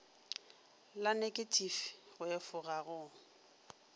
la neketifi go efoga go